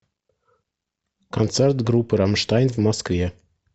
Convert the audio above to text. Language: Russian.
концерт группы рамштайн в москве